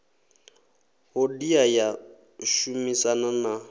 hodea ya u shumisana na